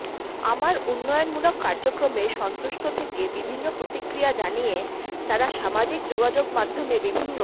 আমার উন্নয়নমূলক কার্যক্রমে সন্তুষ্ট থেকে বিভিন্ন প্রতিক্রিয়া জানিয়ে তারা সামাজিক যোগাযোগ মাধ্যমে বিভিন্ন